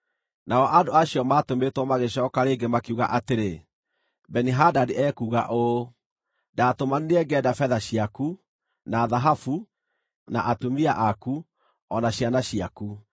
Nao andũ acio maatũmĩtwo magĩcooka rĩngĩ makiuga atĩrĩ, “Beni-Hadadi ekuuga ũũ: ‘Ndaatũmanire ngĩenda betha ciaku, na thahabu, na atumia aku, o na ciana ciaku.